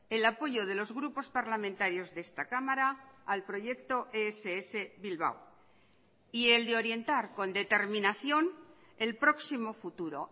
el apoyo de los grupos parlamentarios de esta cámara al proyecto ess bilbao y el de orientar con determinación el próximo futuro